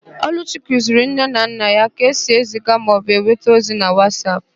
Ọlụchi kụziri nne na nna ya ka esi eziga maọbụ nweta ọzi na Wasap